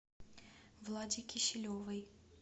владе киселевой